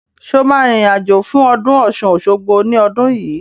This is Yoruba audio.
Sọ ma rìn rìn àjò fún ọdún Ọ̀ṣun-Òṣogbo ní ọdún yìí?